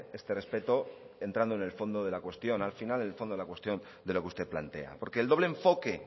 este respeto entrando en el fondo de la cuestión al final el fondo de la cuestión de lo que usted plantea porque el doble enfoque